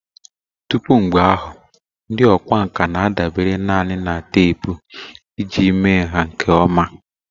Tupu mgbe ahụ, ndị ọkwá nkà na-adabere nanị na teepu iji mee nha nke ọma